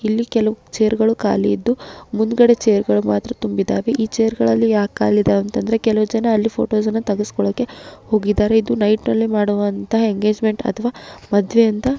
ಇಲ್ಲಿ ಕೆಲವು ಚೇರ್ಗ ಳು ಖಾಲಿ ಇದ್ದು ಮುಂದ್ಗಡೆ ಚೇರ್ಗ ಳು ಮಾತ್ರ ತುಂಬಿದಾವೆ ಈ ಚೇರ್ಗ ಳು ಯಾಕೆ ಖಾಲಿ ಇದಾವೆ ಅಂತಂದ್ರೆ ಕೆಲವು ಜನ ಅಲ್ಲಿ ಫೋಟೋಸ್ ಅಣ್ಣ ತಗಸ್ಕೊಳೋದಕ್ಕೆ ಹೋಗಿದಾರೆ ಇದು ನೈಟ್ ಅಲ್ಲಿ ಮಾಡೋವಂತಹ ಎಂಗೇಜ್ಮೆಂಟ್ ಅಥವಾ ಮದುವೆ ಅಂತ --